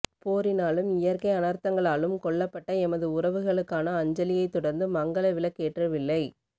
போரினாலும் இயற்கை அநர்த்தங்களாலும் கொல்லப்பட்ட எமது உறவுகளுக்கான அஞ்சலியைத் தொடர்ந்து மங்கல விளக்கேற்றலை